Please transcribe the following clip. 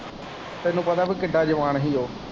ਤੈਨੂੰ ਪਤਾ ਕਿ ਕਿੱਡਾ ਜਵਾਨ ਹੀ ਉਹ।